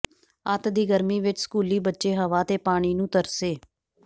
ਅੱਤ ਦੀ ਗਰਮੀ ਵਿੱਚ ਸਕੂਲੀ ਬੱਚੇ ਹਵਾ ਅਤੇ ਪਾਣੀ ਨੂੰ ਤਰਸੇ